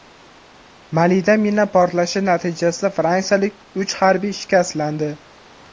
Malida mina portlashi natijasida fransiyalik uch harbiy shikastlandi.